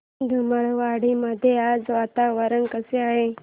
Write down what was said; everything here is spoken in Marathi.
धुमाळवाडी मध्ये आज वातावरण कसे आहे